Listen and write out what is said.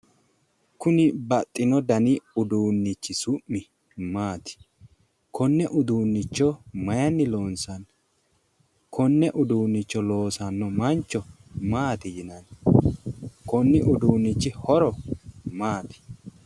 Kuni baxxino dani uduunnichi su'mi maati? Konne uduunnicho mayinni loonsanni? Konne uduunnicho loosanno mancho maati yinanni? Konni uduunnichi horo maati.